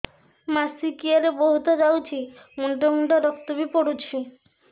ମାସିକିଆ ରେ ବହୁତ ଯାଉଛି ମୁଣ୍ଡା ମୁଣ୍ଡା ରକ୍ତ ବି ପଡୁଛି